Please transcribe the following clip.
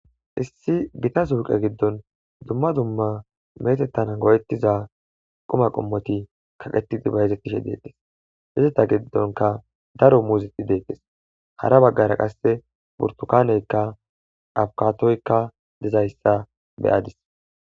Issi Gita suqe gidon dumma dumma metetana go'etiza quma qomot kaqetid bayzetishe Izeta gidonka daro muzet detes hara bagara qase burtukaneyka, abukadoyka dizaysa beyadis.